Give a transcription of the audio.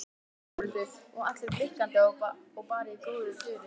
Þórhildur: Og allir blikkandi og bara í góðu fjöri?